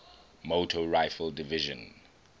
motor rifle division